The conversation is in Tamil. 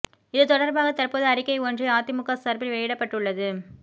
இது தொடர்பாக தற்போது அறிக்கை ஒன்றை அதிமுக சார்பில் வெளியிடப்பட்டு உள்ளது